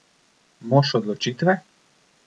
Mož odločitve?